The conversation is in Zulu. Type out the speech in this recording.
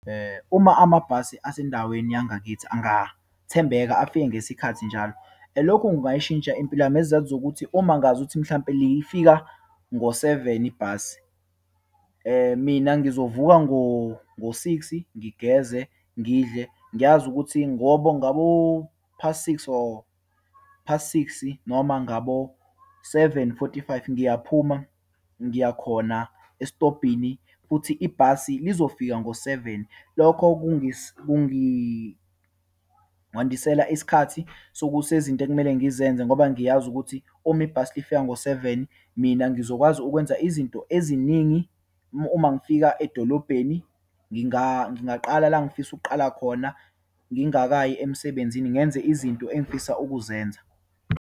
Uma amabhasi asendaweni yangakithi angathembeka afike ngesikhathi njalo. Lokhu kungayishintsha impilo yami, ngezizathu zokuthi uma ngazuthi mhlawumpe le ifika ngo-seven ibhasi, mina ngizovuka ngo ngo-six-i, ngigeze, ngidle. Ngiyazi ukuthi ngoba ngabo past six or past six-i, noma ngabo seven, forty, five ngiyaphuma, ngiya khona esitobhini, futhi ibhasi lizofika ngo seven. Lokho ngandisela isikhathi sokuthi kunezinto ekumele ngizenze ngoba ngiyazi ukuthi uma ibhasi lifika ngo seven mina ngizokwazi ukwenza izinto eziningi. Uma ngifika edolobheni, ngingaqala la engifisa ukuqala khona, ngingakayi emsebenzini, ngenze izinto engifisa ukuzenza.